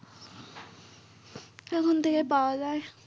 এখন থেকে পাওয়া যাই।